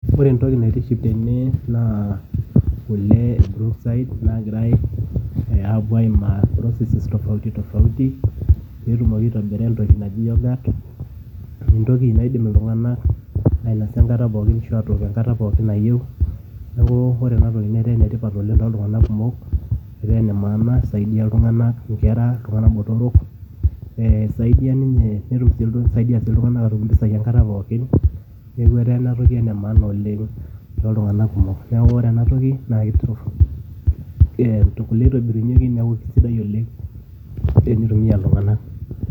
Ore entoki naitiship tene, naa kule e Brookside, nagirai apuo aimaa processes tofauti tofauti, petumoki aitobira entoki naji yoghurt, entoki naidim iltung'anak ainasa enkata pookin, ashu atook enkata pookin nayieu. Neeku, ore enatoki netaa enetipat oleng toltung'anak kumok, etaa enemaana saidi oltung'anak, inkera, iltung'anak botorok, esaidia ninye netum si nisaidia si iltung'anak atum impisai enkata pookin, neku etaa enatoki enemaana oleng toltung'anak kumok. Neeku ore enatoki, nakituruf, eh kule itobirunyeki, neku kesidai oleng tenitumia iltung'anak.